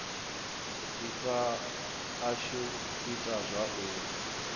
ifa ashu i ita zwauri